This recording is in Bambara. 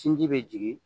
Sinji bɛ jigin